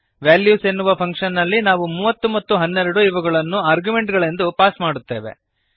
values ಎನ್ನುವ function ನಲ್ಲಿ ನಾವು 30 ಮತ್ತು 12 ಇವುಗಳನ್ನು ಆರ್ಗ್ಯುಮೆಂಟುಗಳೆಂದು ಪಾಸ್ ಮಾಡುತ್ತೇವೆ